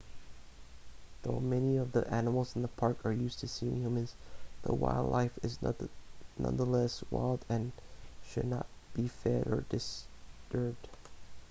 though many of the animals in the park are used to seeing humans the wildlife is nonetheless wild and should not be fed or disturbed